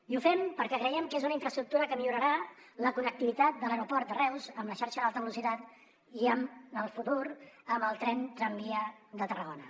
i ho fem perquè creiem que és una infraestructura que millorarà la connectivitat de l’aeroport de reus amb la xarxa d’alta velocitat i en el futur amb el tren tramvia de tarragona